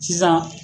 Sisan